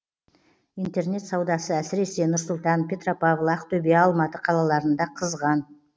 интернет саудасы әсірсесе нұр сұлтан петропавл ақтөбе алматы қалаларында қызған